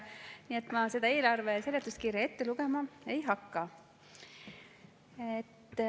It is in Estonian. Nii et ma eelarve seletuskirja ette lugema ei hakka.